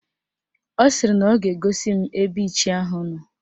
Ọ sịrị na ọ ga-egosi m ebe Ichie ahụ nọ